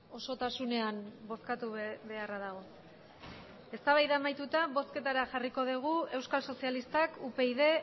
osotasunean bozkatu beharra dago eztabaida amaituta bozketara jarriko dugu euskal sozialistak upyd